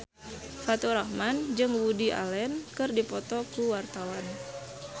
Faturrahman jeung Woody Allen keur dipoto ku wartawan